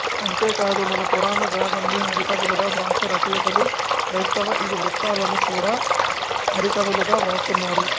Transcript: అంతే కాదు మన పురాణ గాదల్ని హరి కథలుగా వ్రాసే రచయితలు క్రైస్తవ ఇథి వృతాలను కూడ హరికథలుగా వ్రాస్తున్నారు